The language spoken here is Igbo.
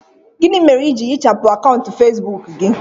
Gịnị mere i ji hichapụ akaụntụ Facebook gị